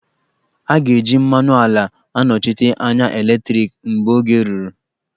A ga-eji mmanụ ala anọchite anya eletriki mgbe oge ruru